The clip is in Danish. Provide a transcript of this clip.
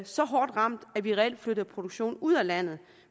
så hårdt ramt at vi reelt flytter produktionen ud af landet